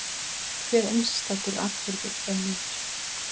Hver einstakur atburður er nýr.